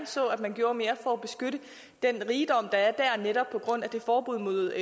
så at man gjorde mere for at beskytte den rigdom der er der netop på grund af det forbud mod